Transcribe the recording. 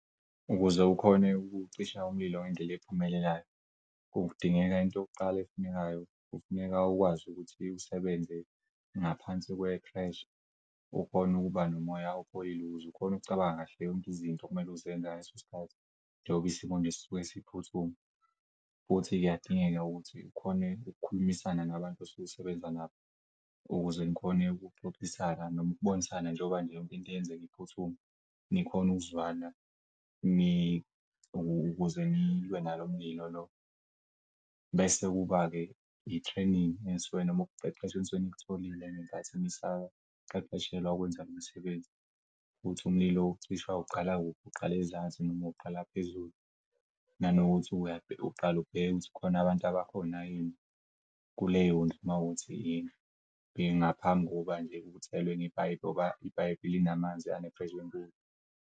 Ukuze ukhone ukucisha umlilo ngendlela ephumelelayo, kudingeka into yokuqala efunekayo kufuneka ukwazi ukuthi usebenze ngaphansi kwephresha. Ukhone ukuba nomoya opholile ukuze ukhon'ukucabanga kahle yonke izinto okumele uzenze ngaleso sikhathi. Nnengoba isimo nje sisuke siphuthuma futhi kuyadingeka ukuthi ukhone ukukhulumisana nabantu osuk'usebenza nabo ukuze nikhone ukuxoxisana noma ukubonisana njengoba nje yonke into yenzek'phuthuma nikhon'ukuzwana ukuze nilwe nalo mlilo lo. Bese kuba-ke i-training noma ukuqeqeshwa enisuken'kutholile ngenkathi nisaqeqeshelwa ukwenza lo msebenzi futhi umlilo ucishwa uqala kuphi, uqale zansi noma uqala phezulu nanokuthi uqal'bhekukuthi khona abantu abakhona yini kuleyondlu mawukuthi yini ngaphambi kokuba nje uthele ngepayipi ngoba ipayipi linamanzi anephresha enkulu.